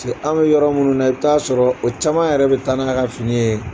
an bɛ yɔrɔ minnu na i bɛ taaa sɔrɔ o caman yɛrɛ bɛ taa n'a ka fini ye.